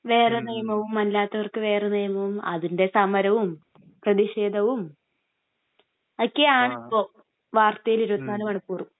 വേറെ നിയമവും അല്ലാത്തോർക്ക് വേറെ നിയമവും..അതിൻ്റെ സമരവും പ്രതിഷേധവും അതൊക്കെയാണിപ്പോ വാർത്തയിൽ 24 മണിക്കൂറും..